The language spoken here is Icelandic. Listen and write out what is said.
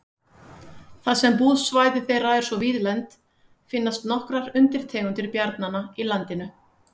Þar sem búsvæði þeirra er svo víðlent finnast nokkrar undirtegundir bjarnanna í landinu.